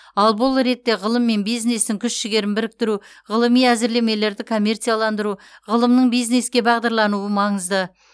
ал бұл ретте ғылым мен бизнестің күш жігерін біріктіру ғылыми әзірлемелерді коммерцияландыру ғылымның бизнеске бағдарлануы маңызды